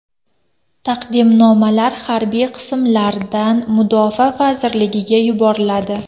Taqdimnomalar harbiy qismlardan Mudofaa vazirligiga yuboriladi.